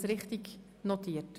Habe ich das richtig notiert?